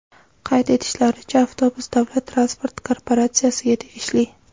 Qayd etishlaricha, avtobus davlat transport korporatsiyasiga tegishli.